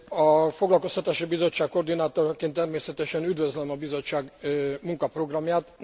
A Foglalkoztatási Bizottság koordinátoraként természetesen üdvözlöm a Bizottság munkaprogramját.